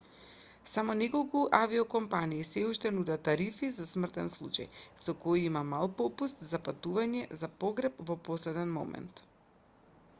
само неколку авиокомпании сѐ уште нудат тарифи за смртен случај со кои има мал попуст за патување за погреб во последен момент